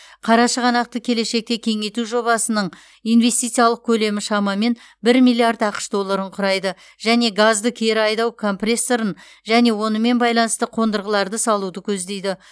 қарашығанақты келешекте кеңейту жобасының инвестициялық көлемі шамамен бір миллиард ақш долларын құрайды және газды кері айдау компрессорын және онымен байланысты қондырғыларды салуды көздейді